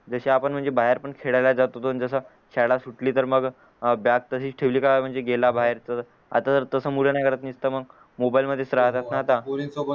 जशी आपण पण बाहेर खेळायला जातो शाळा सुटली तर मग अह बॅग तशीच ठेवली का गेला बाहेर तर आता तर तास मुलं नाय करत निसत मग मोबाईल राहतात ना आता